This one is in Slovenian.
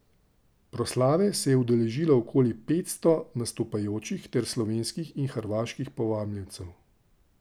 Proslave se je udeležilo okoli petsto nastopajočih ter slovenskih in hrvaških povabljencev.